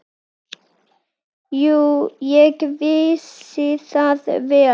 Jú, ég vissi það vel.